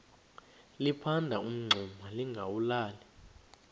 liphanda umngxuma lingawulali